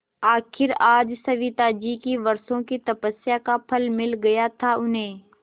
आखिर आज सविताजी की वर्षों की तपस्या का फल मिल गया था उन्हें